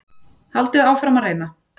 Haldið áfram að reyna.